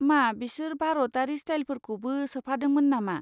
मा बिसोर भारतारि स्टाइलफोरखौबो सोफादोंमोन नामा?